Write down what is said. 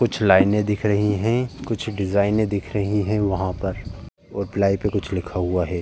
कुछ लाइने दिख रही हैं। कुछ डिज़ाइने दिख रही हैं वहां पर और प्लाइ पे कुछ लिखा हुआ है।